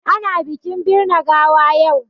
Ana bikin birne gawa yau.